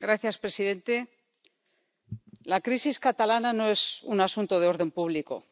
Señor presidente, la crisis catalana no es un asunto de orden público